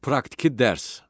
Praktiki dərs.